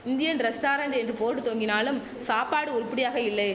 Indian restaurant என்று board தொங்கினாலும் சாப்பாடு உருப்படியாக இல்லை